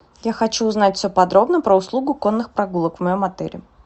я хочу узнать все подробно про услугу конных прогулок в моем отеле